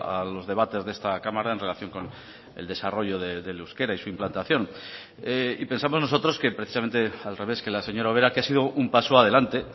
a los debates de esta cámara en relación con el desarrollo del euskera y su implantación y pensamos nosotros que precisamente al revés que la señora ubera que ha sido un paso adelante